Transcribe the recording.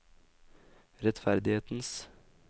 rettferdighetens